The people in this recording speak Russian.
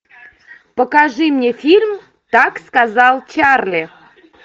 покажи мне фильм так сказал чарли